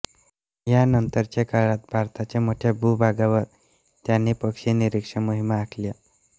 या नंतरच्या काळात भारताच्या मोठ्या भूभागावर त्यांनी पक्षी निरीक्षण मोहिमा आखल्या